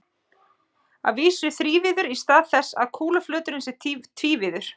Að vísu þrívíður í stað þess að kúluflöturinn sé tvívíður.